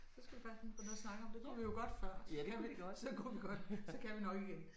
Så skal vi bare finde på noget at snakke om. Det kunne vi jo godt før så kunne vi godt så kan vi nok igen